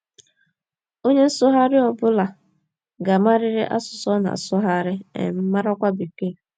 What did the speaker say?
Onye nsụgharị ọ bụla ga - amarịrị asụsụ ọ na - asụgharị, um marakwa Bekee.